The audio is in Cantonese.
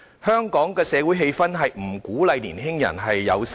香港的社會氣氛並不鼓勵年青人生育。